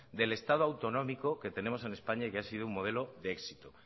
del estado autonómico que tenemos en españa y que ha sido un modelo de éxito